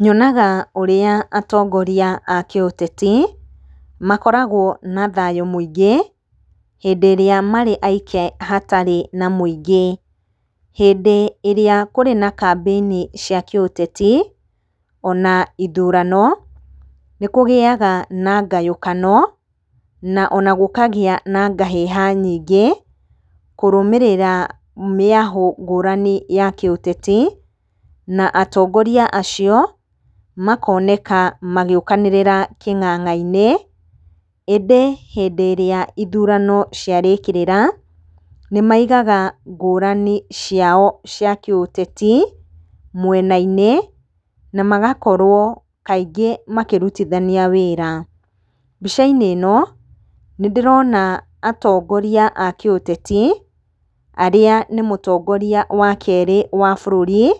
Nyonaga ũrĩa atongoria a kĩũtetic, makoragwo na thayũ mũingĩ, hĩndĩ ĩrĩa marĩ aike hatarĩ na mũingĩ. Hĩndĩ ĩrĩa kũrĩ na kambĩini cia kĩũteti, ona ithurano nĩ kũgĩaga na ngayũkano, na ona gũkagĩa na ngahĩha nyingĩ kũrũmĩrĩra mĩahũ ngũrani ya kĩũteti, na atongoria acio makoneka magĩũkanĩrĩra kĩng'ang'a-inĩ. Ĩndĩ hĩndĩ ĩrĩa ithurano ciarĩkĩrĩra, nĩ maigaga ngũrani ciao cia kĩũteti, mwena-inĩ, na magakorwo kaingĩ makĩrutithania wĩra. Mbica-inĩ ĩno, nĩ ndĩrona atongoria a kĩũteti, arĩa nĩ mũtongoria wa kerĩ wa bũrũri,